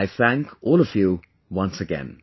I Thank all of you once again